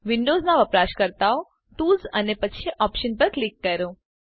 વિન્ડોવ્ઝનાં વપરાશકર્તાઓ ટૂલ્સ અને પછી ઓપ્શન્સ પર ક્લિક કરો